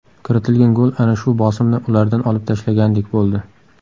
Kiritilgan gol ana shu bosimni ulardan olib tashlagandek bo‘ldi.